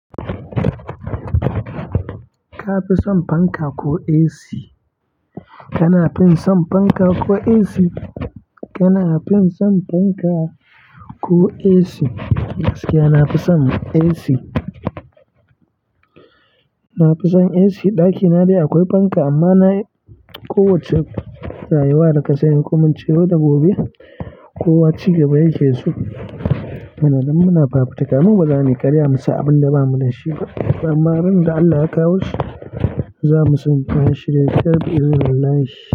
Ka fi son fanka ko AC? Kana fin son fanka ko AC? Kana fin son fanka ko AC? Gaskiya nafi son AC. Na fi son AC ɗakina dai akwai fanka amma na kowacce rayuwa da ka sanya hukuncin yau da gobe, kowa ci gaba yake so. Muna nan muna fafutuka, mun bazamu karya mu yi abin da bamu da shi ba. Amma ran da Allah ya kawo su, zamu san ya shirya kyau, izinallahi.